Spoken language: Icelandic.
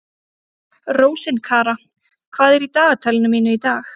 Rósinkara, hvað er í dagatalinu mínu í dag?